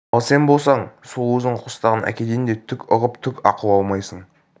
ал сен болсаң сол өзің қостаған әкеден де түк ұғып түк ақыл алмайсың